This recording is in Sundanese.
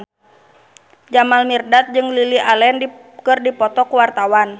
Jamal Mirdad jeung Lily Allen keur dipoto ku wartawan